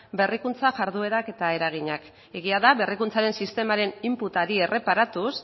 berrikuntza jarduerak eta eraginak egia da berrikuntzaren sistemaren inputari erreparatuz